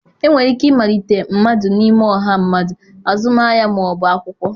Enwere ike ịmalite mmadụ n'ime ọha mmadụ, azụmahịa ma ọ bụ akwụkwọ.